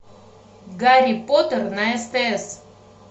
гарри поттер на стс